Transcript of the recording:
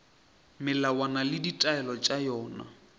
melawana le ditaelo tša yona